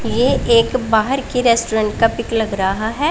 ये एक बाहर की रेस्टोरेंट का पिक लग रहा है।